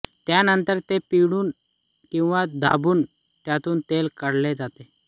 त्यानंतर ते पिळून किंवा दाबून त्यांतून तेल काढले जाते